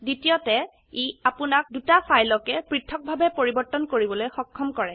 দ্বিতীয়তে ই আপোনাক দুটা ফাইলকেই পৃথক্ভাবে পৰিবৰ্তন কৰিবলৈ সক্ষম কৰে